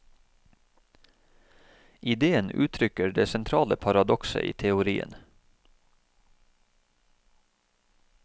Ideen uttrykker det sentrale paradokset i teorien.